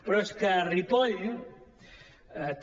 però és que a ripoll també